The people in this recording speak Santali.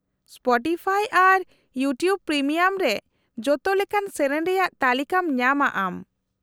-ᱥᱯᱟᱴᱤᱯᱷᱟᱭ ᱟᱨ ᱤᱭᱩᱴᱤᱩᱵ ᱯᱨᱤᱢᱤᱭᱟᱢ ᱨᱮ ᱡᱚᱛᱚ ᱞᱮᱠᱟᱱ ᱥᱮᱹᱨᱮᱹᱧ ᱨᱮᱭᱟᱜ ᱛᱟᱹᱞᱤᱠᱟᱢ ᱧᱟᱢᱟ ᱟᱢ ᱾